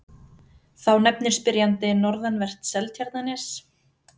Þá nefnir spyrjandi norðanvert Seltjarnarnes.